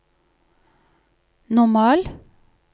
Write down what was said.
normal